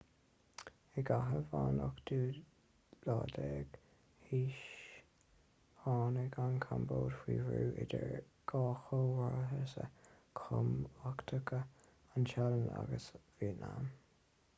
i gcaitheamh an 18ú haois tháinig an chambóid faoi bhrú idir dhá chomharsa chumhachtacha an téalainn agus vítneam